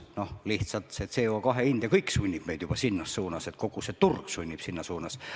Lihtsalt CO2 hind ja kõik see sunnib meid juba minema sinnapoole, kogu turg läheb selles suunas.